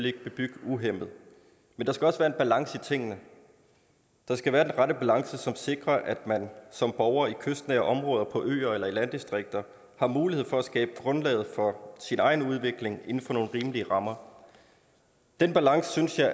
ikke bebygge uhæmmet men der skal også være balance i tingene der skal være den rette balance som sikrer at man som borger i kystnære områder på øer eller i landdistrikter har mulighed for at skabe grundlaget for sin egen udvikling inden for nogle rimelige rammer den balance synes jeg